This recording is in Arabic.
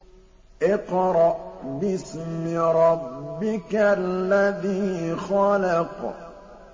اقْرَأْ بِاسْمِ رَبِّكَ الَّذِي خَلَقَ